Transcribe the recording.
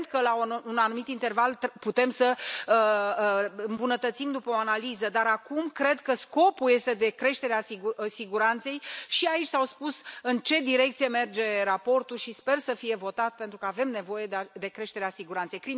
Evident că la un anumit interval putem să îmbunătățim, după o analiză, dar acum cred că scopul este de creștere a siguranței și aici s a spus în ce direcție merge raportul și sper să fie votat, pentru că avem nevoie de creșterea siguranței.